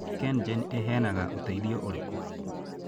KenGen ĩheanaga ũteithio ũrĩkũ?